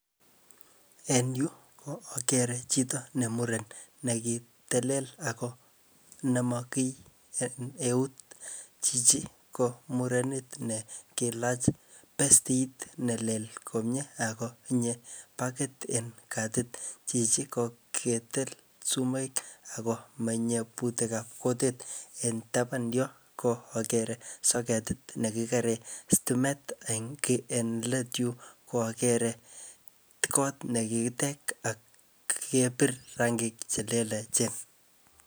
En yu, ko akere chito ne muren, ne kitelel ako nemo kiy en eut. Chichi ko murenet ne kilach pestit nelel komyee, akotinye bakit en katit. Chichi ko kitil sumoik ako manyie butikab kutit. Eng taban yo, ko akere soketit ne kikere stimet eng let yu, ko akere kot ne kikitek ak kepir rangik che lelachen.